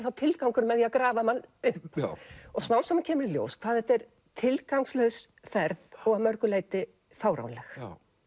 þá tilgangurinn að grafa mann upp smám saman kemur í ljós hvað þetta er tilgangslaus ferð og að mörgu leyti fáránleg